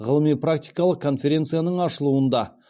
ғылыми практикалық конференцияның ашылуында